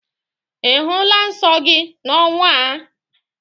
Ị hụla nsọ gị n'ọnwa a?